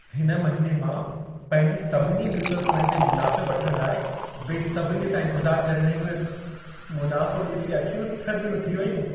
हिन महिने मां पंहिंजे सभिनी म्यूचुअल फंड जे मुनाफ़े वठण लाइ बेसब्रीअ सां इंतज़ारु करे रही हुयसि। मुनाफ़ो ॾिसी अखियूं थधियूं थी वयूं।